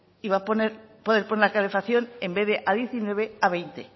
y va a poder poner la calefacción en vez a diecinueve a veinte